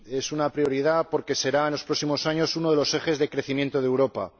Y es una prioridad porque será en los próximos años uno de los ejes de crecimiento de Europa.